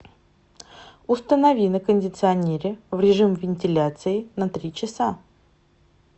установи на кондиционере в режим вентиляции на три часа